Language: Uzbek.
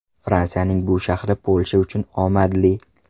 Fransiyaning bu shahri Polsha uchun omadli.